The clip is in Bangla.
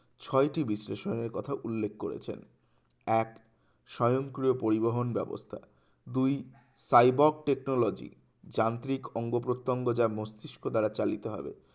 ছয়টি বিশ্লেষণের কথা উল্লেখ করেছেন এক স্বয়ংক্রিয় পরিবহন ব্যবস্থা দুই সাইবক technology যান্ত্রিক অঙ্গ-প্রত্যঙ্গ যা মস্তিস্কো দ্বারা চালিত হবে